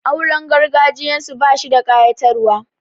Auren gargajiyarsu bashi da ƙayatarwa.